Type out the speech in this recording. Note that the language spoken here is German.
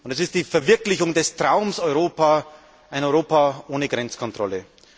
Es ist die Verwirklichung des Traums Europa, ein Europa ohne Grenzkontrollen.